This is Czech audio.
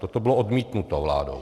Toto bylo odmítnuto vládou.